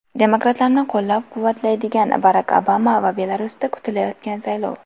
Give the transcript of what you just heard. Demokratlarni qo‘llab-quvvatlayotgan Barak Obama va Belarusda kutilayotgan saylov.